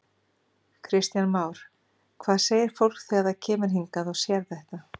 Kristján Már: Hvað segir fólk þegar það kemur hingað og sér þetta?